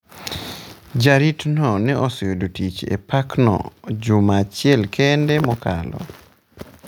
Jaritno ne oseyudo tich e parkno juma achiel kende mokalo.